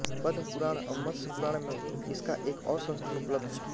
पद्म पुराण व मत्स्य पुराण में इसका एक और संस्करण उपलब्ध है